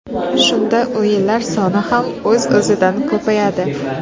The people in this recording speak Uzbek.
Shunda o‘yinlar soni ham o‘z-o‘zidan ko‘payadi.